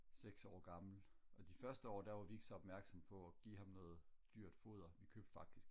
seks år gammel og de første år der var vi ikke så opmærksomme på og give ham noget dyrt foder vi købte faktisk